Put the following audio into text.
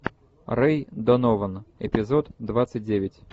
рэй донован эпизод двадцать девять